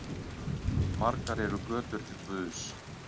Margar eru götur til guðs.